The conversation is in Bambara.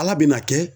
Ala bɛna kɛ